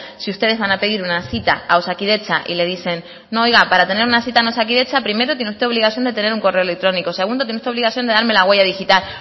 si ustedes van a pedir una cita a osakidetza y les dicen no oiga para tener una cita en osakidetza primero tiene usted obligación de tener un correo electrónico segundo tiene usted que darme la huella digital